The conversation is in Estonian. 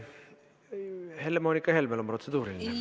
Helle-Moonika Helmel on protseduuriline.